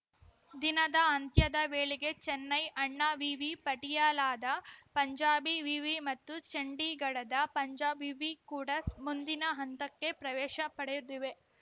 ದಿನದ ಅಂತ್ಯದ ವೇಳೆಗೆ ಚೆನ್ನೈ ಅಣ್ಣಾ ವಿವಿ ಪಟಿಯಾಲಾದ ಪಂಜಾಬಿ ವಿವಿ ಮತ್ತು ಚಂಡೀಗಢದ ಪಂಜಾಬ್‌ ವಿವಿ ಕೂಡ ಮುಂದಿನ ಹಂತಕ್ಕೆ ಪ್ರವೇಶ ಪಡೆದಿವೆ